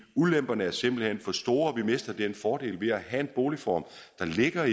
ulemperne er simpelt hen for store vi mister fordelen ved at have en boligform der ligger